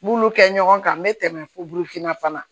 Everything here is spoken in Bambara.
N b'olu kɛ ɲɔgɔn kan n bɛ tɛmɛ fo burufinna fana